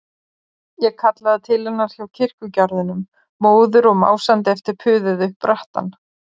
Ég kallaði til hennar hjá kirkjugarðinum, móður og másandi eftir puðið upp brattann.